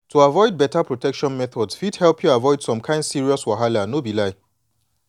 to sabi beta protection methods fit help u avoid some kin serious wahala no be lie.